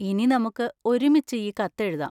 ഇനി നമുക്ക് ഒരുമിച്ച് ഈ കത്ത് എഴുതാം.